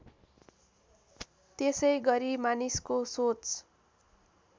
त्यसैगरी मानिसको सोच